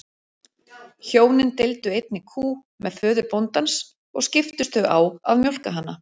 Hjónin deildu einni kú með föður bóndans og skiptust þau á að mjólka hana.